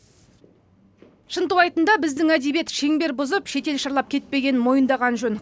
шынтуайтында біздің әдебиет шеңбер бұзып шетел шарлап кетпегенін мойындаған жөн